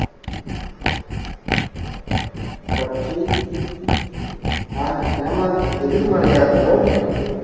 பற்றி எம்மா~ எதிர்மறையாகவோ